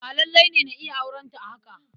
Ba lalle ne na iya aurenta a haka.